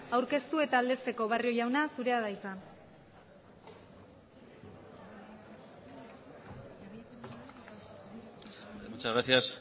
aurkeztu eta aldezteko barrio jauna zurea da hitza muchas gracias